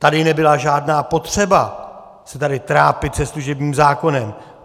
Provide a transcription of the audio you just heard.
Tady nebyla žádná potřeba se tady trápit se služebním zákonem.